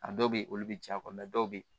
A dɔw bɛ yen olu bɛ caya dɔw bɛ yen